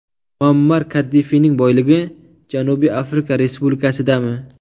Muammar Kaddafining boyligi Janubiy Afrika Respublikasidami?